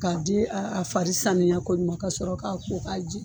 K'a di a farisaniya koɲuman ka sɔrɔ k'a ko k'a jɛ